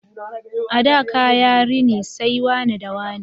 A da kaya rini sai wane da wane